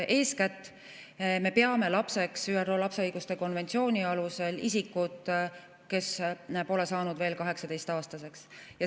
Eeskätt me peame lapseks ÜRO lapse õiguste konventsiooni alusel isikut, kes pole saanud 18‑aastaseks.